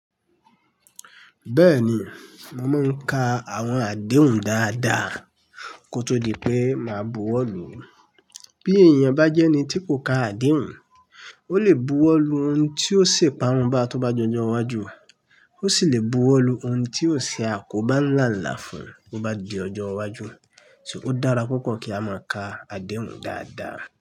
Bẹ́ẹ̀ni, mo máa ń ka àwọn àdéhùn dáadáa kó tó di pé máa buwọ́lu. Bí èèyàn bá jẹ́ ẹni tí kò ka àdéhùn, ó lè buwọ́lu ohun tí ó ṣe iparun bá tó bá di ọjọ́ wájú, ó sì lè buwọ́lu ohun tí ó ṣe akobá ńlá lá fún un tó bá di ọjọ́ wájú. So ó dára púpọ̀ kí a máa ka àdéhùn dáadáa.